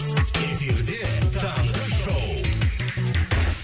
эфирде таңғы шоу